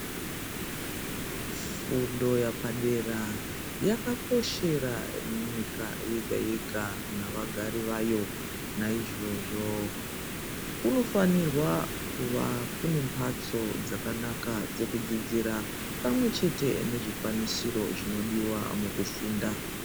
Fundo yapadera yakakoshera nyika yega-yega navagari vayo. Naizvozvo kunofanirwa kuva kune mhatso dzakanaka dzekudzidzira pamwe chete nezvikwanisiro zvinodiva mukufunda.